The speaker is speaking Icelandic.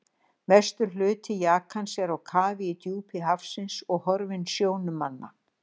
Mestur hluti jakans er á kafi í djúpi hafsins, horfinn sjónum manna.